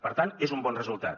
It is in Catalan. per tant és un bon resultat